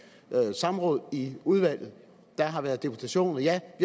samråd i udvalget der har været deputationer ja